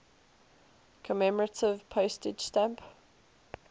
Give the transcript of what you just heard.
commemorative postage stamp